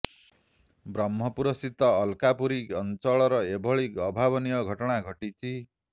ବ୍ରହ୍ମପୁର ସ୍ଥିତ ଅଲକାପୁରୀ ଅଞ୍ଚଳର ଏଭଳି ଅଭାବନୀୟ ଘଟଣା ଘଟିଛି